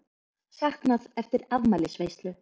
Saknað eftir afmælisveislu